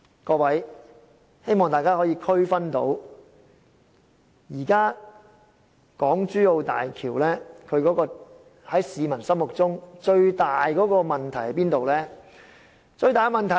各位，希望大家可以區分到，現時港珠澳大橋在市民心中最大的問題是甚麼呢？